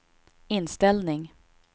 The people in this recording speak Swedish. inställning